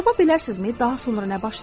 Tapa bilərsinizmi daha sonra nə baş verir?